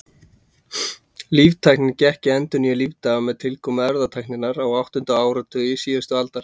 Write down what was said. Líftæknin gekk í endurnýjun lífdaga með tilkomu erfðatækninnar á áttunda áratugi síðustu aldar.